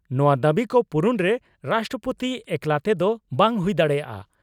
ᱱᱚᱣᱟ ᱫᱟᱹᱵᱤ ᱠᱚ ᱯᱩᱨᱩᱱᱨᱮ ᱨᱟᱥᱴᱨᱚᱯᱳᱛᱤ ᱮᱠᱞᱟ ᱛᱮᱫᱚ ᱵᱟᱝ ᱦᱩᱭ ᱫᱟᱲᱮᱭᱟᱜᱼᱟ ᱾